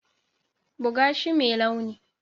Buga shi mai launi.